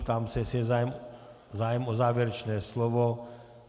Ptám se, jestli je zájem o závěrečné slovo.